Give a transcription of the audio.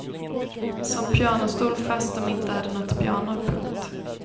Som pianostol fast dom inte hade nåt piano. punkt